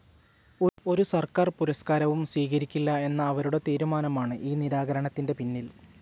ഒരു സർക്കാർ പുരസ്കാരവും സ്വീകരിക്കില്ല എന്ന അവരുടെ തീരുമാനമാണ് ഈ നിരാകരണത്തിൻ്റെപിന്നിൽ.